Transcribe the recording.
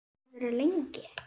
Verður þú lengi?